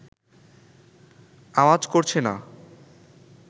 আওয়াজ করছে না